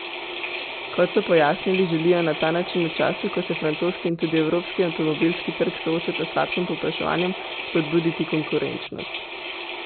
Kot so pojasnili, želijo na ta način v času, ko se francoski in tudi evropski avtomobilski trg soočata s slabšim povpraševanjem, spodbuditi konkurenčnost.